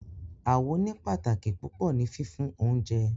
Awo ní pàtàkì púpọ ni fífún oúnjẹ